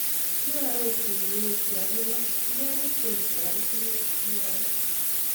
�kia arorchi uinwek chea pune koganyit kole taretech,� mwae